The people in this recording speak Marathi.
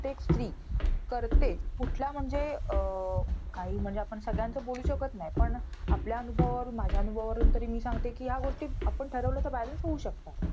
एक स्री करतेच. कुठल्या म्हणजे अं काही म्हणजे आपण सगळ्यांचं बोलू शकत नाही. पण आपल्या अनुभवावरून माझ्या अनुभवावरून तरी मी सांगते, कि ह्या गोष्टी आपण ठरवल्या तर balance होऊ शकतात.